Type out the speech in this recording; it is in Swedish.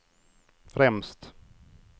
främst